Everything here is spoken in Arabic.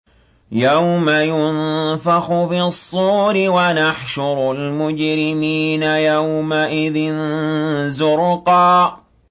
يَوْمَ يُنفَخُ فِي الصُّورِ ۚ وَنَحْشُرُ الْمُجْرِمِينَ يَوْمَئِذٍ زُرْقًا